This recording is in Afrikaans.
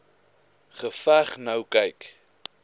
geveg nou kyk